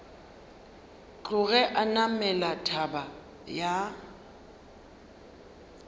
tloge a namela thaba ya